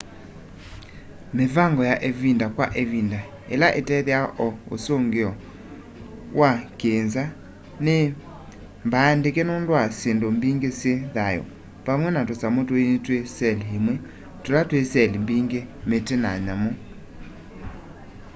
mivango ya ĩvinda kwa ĩvinda ĩla ĩtethĩawa o ũsũngĩo wa wa kĩ nza nĩmbaandĩke nũndũ wa syĩndũ mbingĩ syĩ thayũ vamwe na tũsamũ tũini twĩ seli ĩmwe tũla twĩ seli mbingĩ mĩtĩ na nyamũ